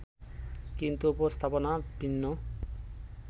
কিন্তু উপস্থাপনা ভিন্ন